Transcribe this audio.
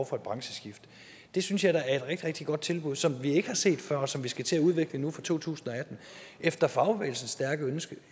for et brancheskift det synes jeg da er et rigtig rigtig godt tilbud som vi ikke har set før og som vi skal til at udvikle nu fra to tusind og atten efter fagbevægelsens stærke ønske